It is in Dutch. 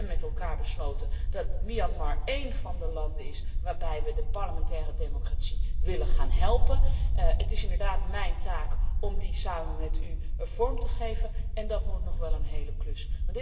We hebben met elkaar besloten dat Myanmar één van de landen is waar we de parlementaire democratie willen gaan helpen. Het is inderdaad mijn taak om dit samen met u vorm te geven en dat wordt nog wel een hele klus.